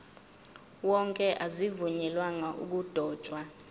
wonke azivunyelwanga ukudotshwa